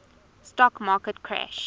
stock market crash